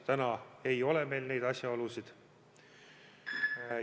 Täna neid asjaolusid veel ei ole.